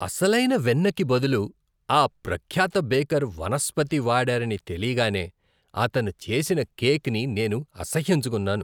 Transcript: అసలైన వెన్నకి బదులు ఆ ప్రఖ్యాత బేకర్ వనస్పతి వాడారని తెలీగానే అతను చేసిన కేక్ని నేను అసహ్యించుకున్నాను .